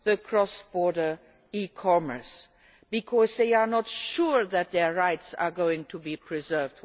cross border e commerce because they are not sure that their rights are going to be preserved.